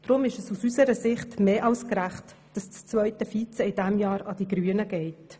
Deshalb ist es aus unserer Sicht mehr als gerecht, wenn das zweite Vizepräsidium in diesem Jahr an die Grünen geht.